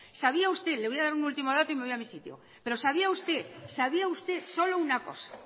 sabía usted le voy a dar un último dato y me voy a mi sitio solo una cosa